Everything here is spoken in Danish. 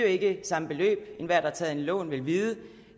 ikke samme beløb enhver der har taget et lån vil vide